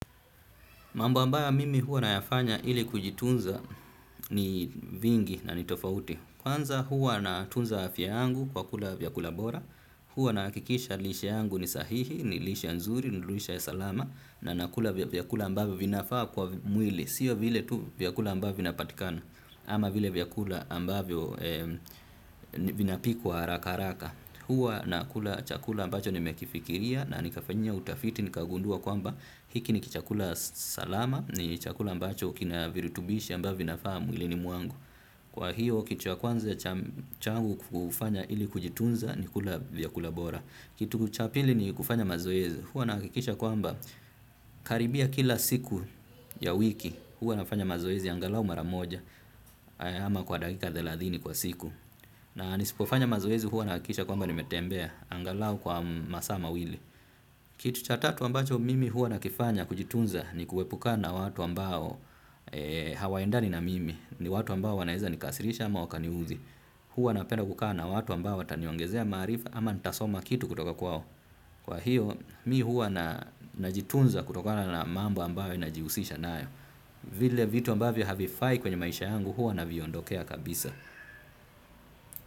Mambo ambayo mimi huwa nayafanya ili kujitunza ni vingi na ni tofauti. Kwanza huwa na tunza afya yangu kwa kula vyakula bora. Huwa nahakikisha lishe yangu ni sahihi, ni lishe nzuri, ni lishe ya salama. Na nakula vyakula ambavyo vinafaa kwa mwili. Sio vile tu vyakula ambavyo vina patikana. Ama vile vyakula ambavyo vinapikwa haraka haraka. Huwa nakula chakula ambacho nimekifikiria na nikafanyia utafiti, nikagundua kwamba. Hiki ni kichakula salama ni chakula ambacho kina virutubishi ambavyo vinafaa mwilini mwangu. Kwa hiyo kitu cha kwanza changu kufanya ili kujitunza ni kula vyakula bora. Kitu cha pili ni kufanya mazoezi. Huwa nahakikisha kwamba karibia kila siku ya wiki. Huwa nafanya mazoezi angalau maramoja ama kwa dakika thelathini kwa siku. Na nisipofanya mazoezi huwa nahakikisha kwamba nimetembea. Angalau kwa masaa mawili. Kitu cha tatu ambacho mimi huwa nakifanya kujitunza ni kuepukana na watu ambao hawaendani na mimi, ni watu ambao wanaeza nikasirisha ama wakaniudhi. Huwa napenda kukaa na watu ambao wataniongezea maarifa ama nitasoma kitu kutoka kwao. Kwa hiyo mimi huwa najitunza kutokana na mambo ambayo nahusiana nayo. Vile vitu ambavyo havifai kwenye maisha yangu huwa naviondokea kabisa.